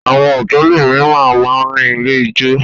Àwọn hòtẹ́ẹ́lì mìíràn máà ń ní ilé-ijó.